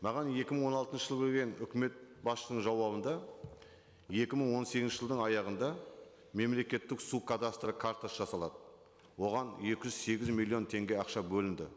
маған екі мың он алтыншы жылы келген үкімет басшының жауабында екі мың он сегізінші жылдың аяғында мемлекеттік су кадастры картасы жасалады оған екі жүз сегіз миллион теңге ақша бөлінді